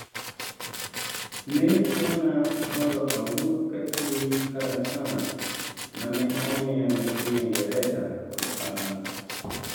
"Ne chuna mondo awuoth katiyo gi kalatas ma ne omiya gi piny Ingresa kod Faransa.